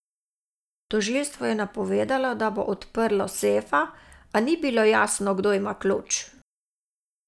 Tožilstvo je napovedalo, da bo odprlo sefa, a ni bilo jasno, kdo ima ključ.